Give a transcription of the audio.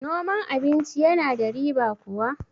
noman abinci yana da riba kuwa?